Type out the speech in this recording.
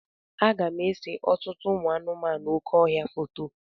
Aga m ese ọtụtụ ụmụ anụmanụ oké ọhịa foto.